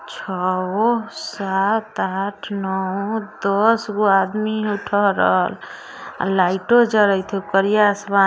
छह सात आठ नौ दस वह आदमी को उठा रहा है और आर लाइटो जरत है करिया आसमान है|